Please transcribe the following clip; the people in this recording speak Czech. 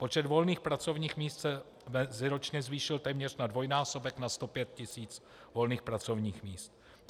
Počet volných pracovních míst se meziročně zvýšil téměř na dvojnásobek, na 105 tisíc volných pracovních míst.